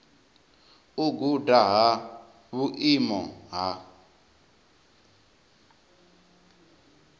u guda ha vhuimo ha